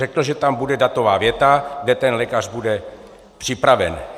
Řekl, že tam bude datová věta, kde ten lékař bude připraven.